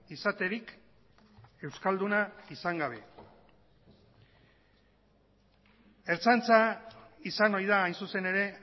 izaterik euskalduna izan gabe ertzaintza izan ohi da hain zuzen ere